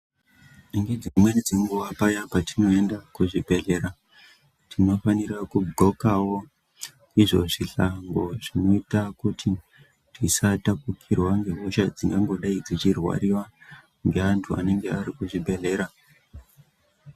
Nedzimweni dzenguwa paya patinoende kuzvibhledhlera tinofanira kuglokawo izvo zvihlango zvinoita kuti tisataoukirwa ngehosha dzingangodayi dzeirwariwa ngeantu anenge ari kuzvibhledhlera.